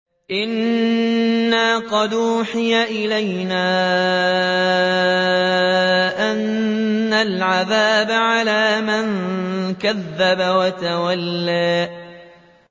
إِنَّا قَدْ أُوحِيَ إِلَيْنَا أَنَّ الْعَذَابَ عَلَىٰ مَن كَذَّبَ وَتَوَلَّىٰ